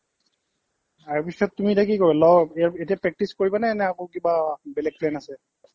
তাৰপিছত তুমি এতিয়া কি কৰিবা law এতিয়া practice কৰিবানে বেলেগ plan আছে